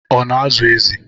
Ọ na-azụ ezi?